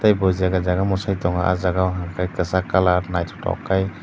bo jaga jaga mwsai tongo ah jagao hwnkha khai kwchak colour naithotok khai.